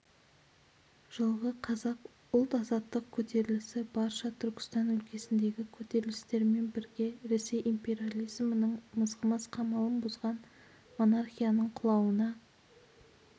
жылғы қазақ ұлт-азаттық көтерілісі барша түркістан өлкесіндегі көтерілістермен бірге ресей империализмінің мызғымас қамалын бұзған монархияның құлауына